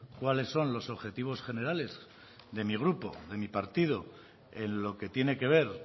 cuáles son los objetivos generales de mi grupo de mi partido en lo que tiene que ver